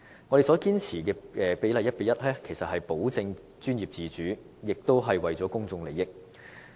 我們堅持 1：1 的比例，其實是為了保證專業自主和保障公眾利益。